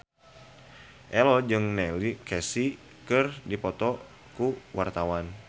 Ello jeung Neil Casey keur dipoto ku wartawan